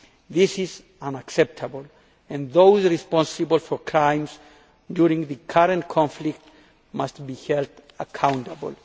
This is unacceptable and those responsible for crimes during the current conflict must be held accountable.